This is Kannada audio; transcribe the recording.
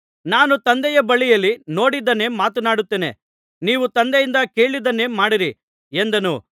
ನಾನು ತಂದೆಯ ಬಳಿಯಲ್ಲಿ ನೋಡಿದ್ದನ್ನೇ ಮಾತನಾಡುತ್ತೇನೆ ನೀವು ತಂದೆಯಿಂದ ಕೇಳಿದ್ದನ್ನೇ ಮಾಡಿರಿ ಎಂದನು